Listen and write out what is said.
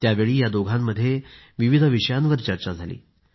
त्यावेळी या दोघांमध्ये विविध विषयांवर चर्चा झाली